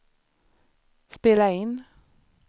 spela in